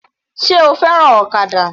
Sé o fẹ́ràn ọ̀kadà?